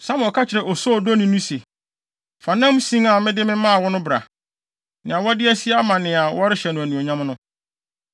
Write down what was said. Samuel ka kyerɛɛ osoodoni no se, “Fa nam sin a mede maa wo no bra, nea wɔde asie ama nea wɔrehyɛ no anuonyam no.”